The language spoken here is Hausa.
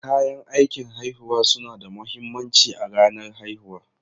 Kayan aikin haihuwa suna da mahimmanci a ranar haihuwa.